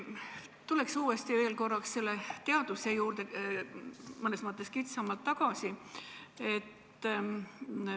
Tuleks uuesti korraks selle teaduse juurde mõnes mõttes kitsamalt tagasi.